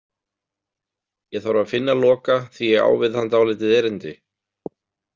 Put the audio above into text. Ég þarf að finna Loka því ég á við hann dálítið erindi.